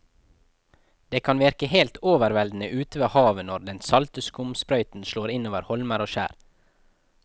Det kan virke helt overveldende ute ved havet når den salte skumsprøyten slår innover holmer og skjær.